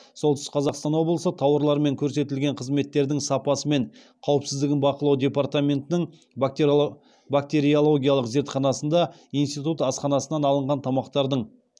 солтүстік қазақстан облысы тауарлар мен көрсетілген қызметтердің сапасы мен қауіпсіздігін бақылау департаментінің бактериологиялық зертханасында институт асханасынан алынған тамақтардың